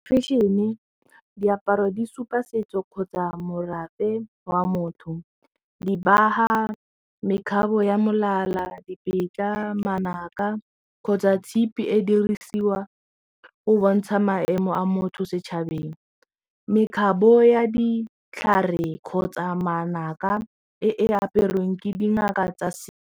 Fashion-e, diaparo di supa setso kgotsa morafe wa motho dibaga, mekgatlho ya molala, dibetsa, manaka kgotsa tshipi e dirisiwa go bontsha maemo a motho setšhabeng mekgabo ya ditlhare kgotsa manaka e aperweng ke dingaka tsa setso.